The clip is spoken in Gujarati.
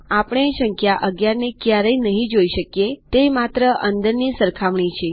આપણે સંખ્યા ૧૧ને ક્યારેય નહીં જોઈ શકીએતે માત્ર અંદરની સરખામણી છે